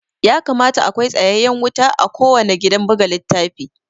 Ya kamata akwai sayayyen wuta a kuwanna gidan buga littafi